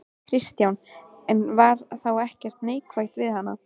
Kristján: En var þá ekkert neikvætt við hana?